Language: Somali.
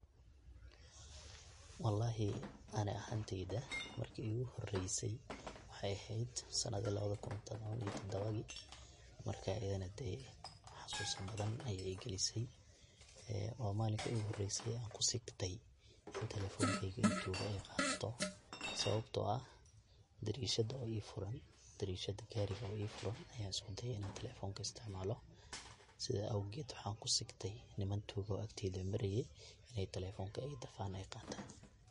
Wallahi ani ahanteyda markii iigu horeysay waxaay eheed sanadihii labadh kun tobon ii todobadii. Marka ayidn, hadee xasuusin badan ayaay igilisay ee oo maalinka iigu horeysay aan kusigtey in telefonkeyga ay tuugo ay qaadato, sababtoo ah, derishada oo ii furan, derishada gaariga oo ii furan ayaan usku deyey inan telefonka istacmaalo. Sida awgeed, waxaan kusigtey niman tuugo agteyd mareyey in telefonka ay dafan ay qaatan.